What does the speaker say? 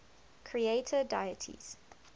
creator deities